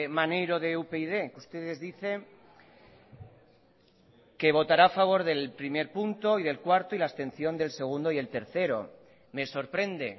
maneiro de upyd ustedes dicen que votará a favor del punto uno y cuatro y la abstención del dos y el tres me sorprende